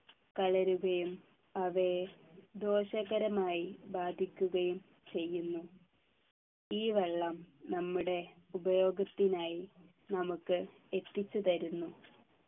കലരുകയും അവയെ ദോഷകരമായി ബാധിക്കുകയും ചെയ്യുന്നു ഈ വെള്ളം നമ്മുടെ ഉപയോഗത്തിനായി നമുക്ക് എത്തിച്ചു തരുന്നു